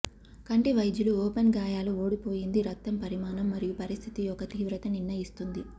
కంటి వైద్యులు ఓపెన్ గాయాలు ఓడిపోయింది రక్తం పరిమాణం మరియు పరిస్థితి యొక్క తీవ్రత నిర్ణయిస్తుంది